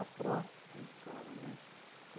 pró, a escola, né?